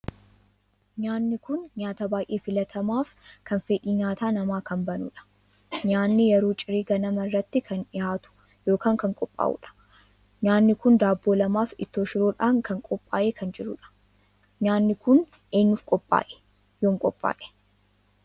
Nyaanni kun nyaataa baay'ee filatamaaf kan fedhii nyaataa namaa kan banuudha. Nyaanni yeroo ciree ganama irratti kan dhihaatu ykn kan qophaa'uudha. nyaanni kun daabboo lamaaf ittoo shiroodhaan kan qophaa'ee kan jiruudha. Nyaanni kun eenyuf qophaa'e? Yoom qophaa'e?